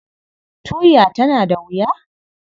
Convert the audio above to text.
Tuya tana da wuya?